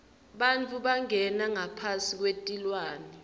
bantfu bangena ngaphasi kwetilwane